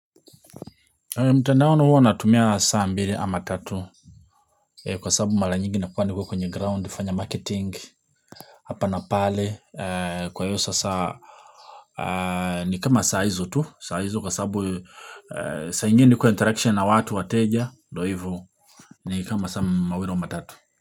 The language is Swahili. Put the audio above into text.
Mtandawaini hua natumia saa mbili ama tatu. Kwa sababu mara nyingi nakuwa niko kwenye ground fanya marketing. Hapa na pale kwa hiyo sasa ni kama saa hizo tu saa hizo kwa sababu saa ingine kwa interaction na watu wateja ndo hivo ni kama saa mawili au matatu. Kwa hivyo.